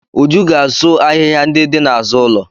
Uju ga-asụ ahịhịa ndị dị n'azụ ụlọ.